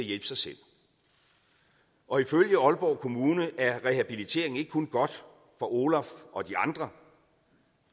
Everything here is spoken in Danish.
hjælpe sig selv og ifølge aalborg kommune er rehabilitering ikke kun godt for olaf og de andre